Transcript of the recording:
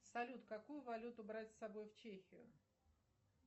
салют какую валюту брать с собой в чехию